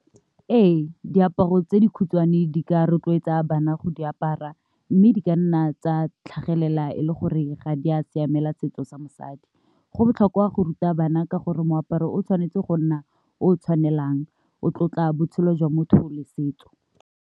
Ee, diaparo tse dikgutshwane di ka rotloetsa bana go di apara mme di ka nna tsa tlhagelela e le gore ga di a siamela setso sa mosadi, go botlhokwa go ruta bana ka gore moaparo o tshwanetse go nna o tshwanelang, o tlotla botshelo jwa motho le setso.